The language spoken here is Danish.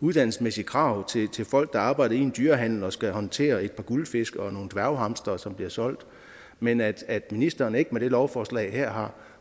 uddannelsesmæssige krav til folk der arbejder i en dyrehandel og skal håndtere et par guldfisk og nogle dværghamstre som bliver solgt men at at ministeren ikke med lovforslaget har